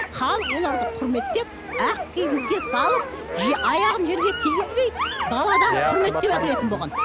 халық оларды құрметтеп ақ кигізге салып аяғын жерге тигізбей даладан құрметтеп әкелетін болған